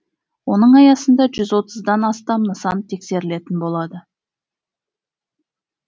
оның аясында жүз отыздан астам нысан тексерілетін болады